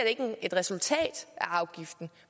ikke et resultat af afgiften